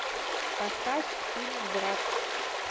поставь фильм брат